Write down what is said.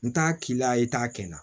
N t'a k'i la i t'a kɛ na